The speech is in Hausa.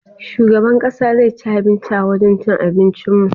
Shugaban ƙasa zai ci abinci a wajan cin abincin mu.